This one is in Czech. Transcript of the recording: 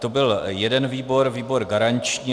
To byl jeden výbor, výbor garanční.